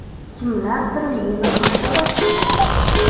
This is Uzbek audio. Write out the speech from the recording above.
Kimlardir meni haqorat qildi.